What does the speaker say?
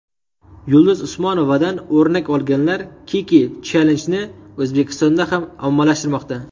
Yulduz Usmonovadan o‘rnak olganlar Kiki Challenge’ni O‘zbekistonda ham ommalashtirmoqda .